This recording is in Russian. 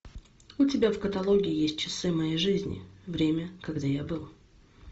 у тебя в каталоге есть часы моей жизни время когда я был